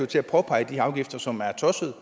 til at påpege de her afgifter som er tossede